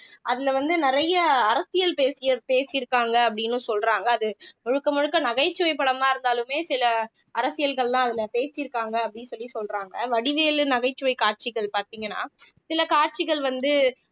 அதுல வந்து நிறைய அரசியல் பேசி இருக்காங்க அப்படின்னும் சொல்றாங்க அது முழுக்க முழுக்க நகைச்சுவை படமா இருந்தாலுமே சில அரசியல்கள் எல்லாம் அதுல பேசிருக்காங்க அப்படின்னு சொல்லி சொல்றாங்க வடிவேலு நகைச்சுவை காட்சிகள் பார்த்தீங்கன்னா சில காட்சிகள் வந்து